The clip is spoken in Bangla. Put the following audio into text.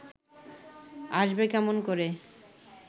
আসবে কেমন করে